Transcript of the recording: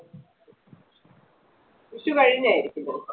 വിഷു കഴിഞ്ഞായിരിക്കും തോന്നുന്നേ